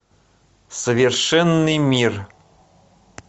совершенный мир